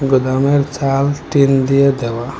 গুদামের ছাদ টিন দিয়ে দেওয়া।